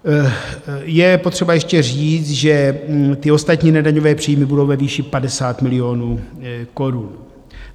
Je potřeba ještě říct, že ty ostatní nedaňové příjmy budou ve výši 50 milionů korun.